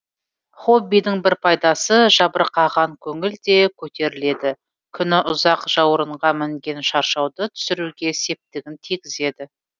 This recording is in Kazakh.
хоббидің бір пайдасы жабырқаған көңіл де көтеріледі күні ұзақ жауырынға мінген шаршауды түсіруге септігін тигізеді